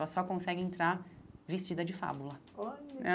Ela só consegue entrar vestida de Fábula. Olha